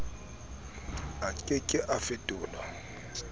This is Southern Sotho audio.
a ke ke a fetolwa